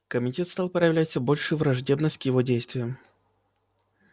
комитет стал проявлять всё большую враждебность к его действиям